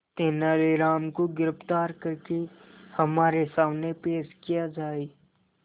तेनालीराम को गिरफ्तार करके हमारे सामने पेश किया जाए